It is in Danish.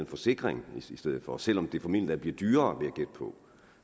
forsikring i stedet for selv om det formentlig blive dyrere vil